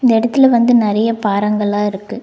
இந்த இடத்துல வந்து நறைய பாறாங்கல்லா இருக்கு.